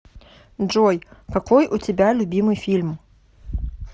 джой какой у тебя любимый фильм